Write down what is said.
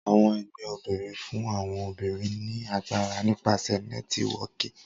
Awọn ẹgbẹ obinrin fun awọn obinrin ni agbara nipasẹ Nẹtiwọọki.